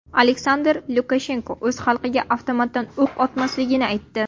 Aleksandr Lukashenko o‘z xalqiga avtomatdan o‘q otmasligini aytdi.